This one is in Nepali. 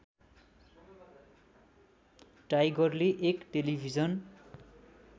टाइगरले एक टेलिभिजन